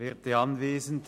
Kommissionssprecher